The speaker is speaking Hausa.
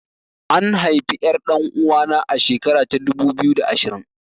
An haifi ƴar ɗan uwana a shekara ta dubu biyu da ashirin